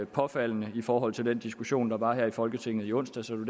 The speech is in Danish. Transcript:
påfaldende i forhold til den diskussion der var her i folketinget i onsdags og det